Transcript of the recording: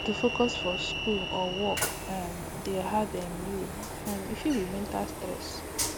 if to focus for school or work dey hard um dey hard um you um e fit be mental stress